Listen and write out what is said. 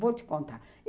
Vou te contar.